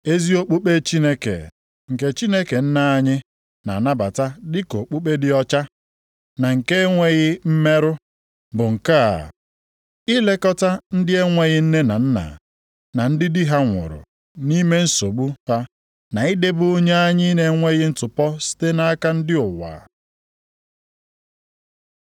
Ezi okpukpe Chineke, nke Chineke Nna anyị na-anabata dịka okpukpe dị ọcha, na nke na-enweghị mmerụ, bụ nke a, ilekọta ndị na-enweghị nne na nna, na ndị di ha nwụrụ nʼime nsogbu ha na idebe onwe anyị nʼenweghị ntụpọ site nʼaka ndị ụwa.